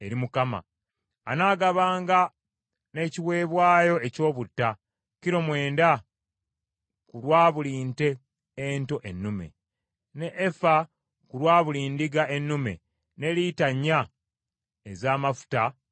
Anaagabanga n’ekiweebwayo eky’obutta, kilo mwenda ku lwa buli nte nto ennume, n’efa ku lwa buli ndiga ennume, ne lita nnya ez’amafuta buli efa.